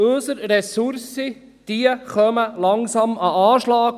Unsere Ressourcen kommen langsam an den Anschlag.